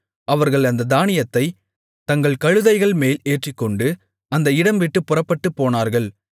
அவர்கள் அந்தத் தானியத்தைத் தங்கள் கழுதைகள்மேல் ஏற்றிக்கொண்டு அந்த இடம்விட்டுப் புறப்பட்டுப்போனார்கள்